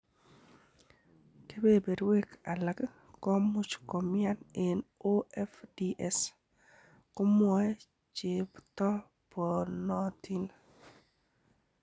Kebeberwek alak komuch komian en OFDS, komwoe chetoponotin.